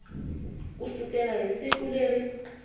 ku sukela hi siku leri